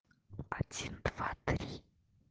один два три